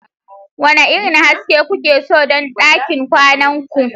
Wane irin haske kuke so don ɗakin kwanan ku?